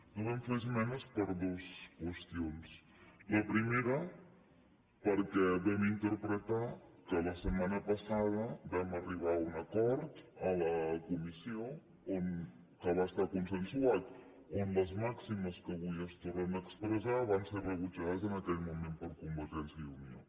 no vam fer esmenes per dues qüestions la primera perquè vam interpretar que la setmana passada vam arribar a un acord a la comissió que va estar consensuat on les màximes que avui es tornen a expressar van ser re·butjades en aquell moment per convergència i unió